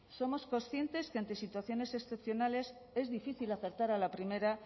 somos conscientes que ante situaciones excepcionales es difícil acertar a la primera